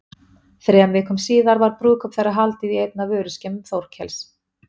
Þremur vikum síðar var brúðkaup þeirra haldið í einni af vöruskemmum Þórkels.